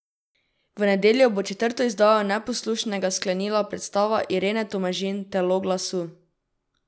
V nedeljo bo četrto izdajo Neposlušnega sklenila predstava Irene Tomažin Telo glasu.